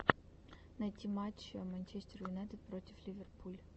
найти матч манчестер юнайтед против ливерпуль